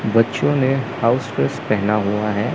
बच्चों ने house dress पहना हुआ है।